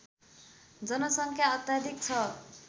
जनसङ्ख्या अत्याधिक छ